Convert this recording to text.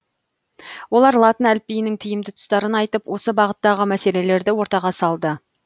олар латын әліпбиінің тиімді тұстарын айтып осы бағыттағы мәселелерді ортаға салды